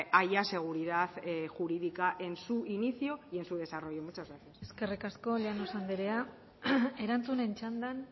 haya seguridad jurídica en su inicio y en su desarrollo muchas gracias eskerrik asko llanos andrea erantzunen txandan